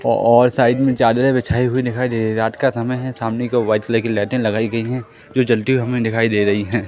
और साइड में चादरें बिछाई हुई दिखाई दे रही हैं रात का समय है सामने की ओर व्हाइट कलर की लाइटें लगाई गई हैं जो जलती हुई हमें दिखाई दे रही हैं।